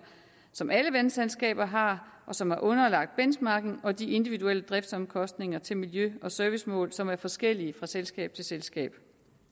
som alle vandselskaber har og som er underlagt benchmarking og de individuelle driftsomkostninger til miljø og servicemål som er forskellige fra selskab til selskab